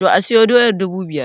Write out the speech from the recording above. To, asiyo doyar dubu biyar